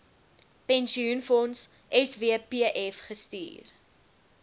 pensioenfonds swpf gestuur